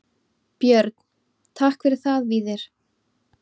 Björn: Takk fyrir það Víðir.